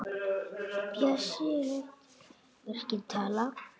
Bjössi lét verkin tala.